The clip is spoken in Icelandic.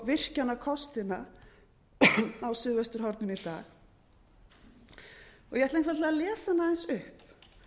virkjunarkostina á suðvesturhorninu í dag ég ætla einfaldlega að lesa hana aðeins upp